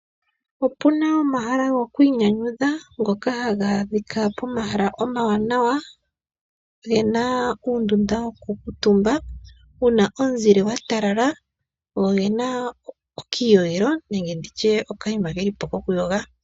Opuna omahala goku inyanyudha ngoka hagaadhika pomahala omawanawa gena uundunda wokuukutumba wuna omuzile gwatalala, go ogena okayiyogelo nenge nditye okayima kelipo kokwiiyogela.